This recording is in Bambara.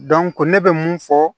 ne bɛ mun fɔ